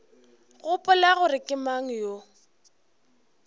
gopola gore ke mang yo